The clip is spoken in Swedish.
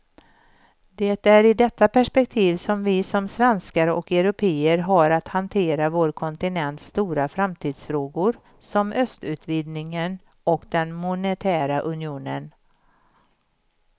Det är i detta perspektiv som vi som svenskar och européer har att hantera vår kontinents stora framtidsfrågor som östutvidgningen och den monetära unionen.